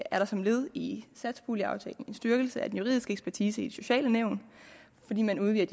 er der som et led i satspuljeaftalen en styrkelse af den juridiske ekspertise i de sociale nævn fordi man udvider